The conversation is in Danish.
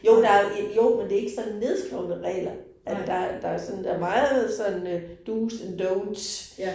Jo der jo, men det ikke sådan nedskrevne regler, at der der sådan. Der meget sådan øh do's and don'ts